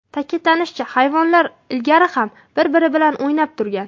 Ta’kidlanishicha, hayvonlar ilgari ham bir-biri bilan o‘ynab turgan.